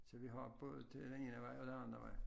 Så vi har både til den ene vej og til den anden vej